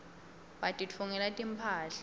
batitfungela timphahla